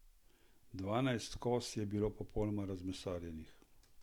Dvanajst koz je bilo popolnoma razmesarjenih.